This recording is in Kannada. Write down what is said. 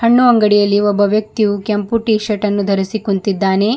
ಹಣ್ಣು ಅಂಗಡಿಯಲ್ಲಿ ಒಬ್ಬ ವ್ಯಕ್ತಿಯು ಕೆಂಪು ಟೀ ಶರ್ಟ್ ಅನ್ನು ಧರಿಸಿ ಕುಂತಿದ್ದಾನೆ.